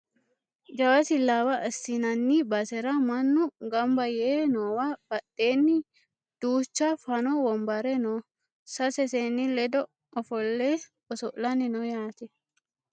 Jawa silsaawa assinanni basera mannu gamba yee noowa badheenni duucha fano wombare no sase seenni ledo ofolle oso'lanni no yaate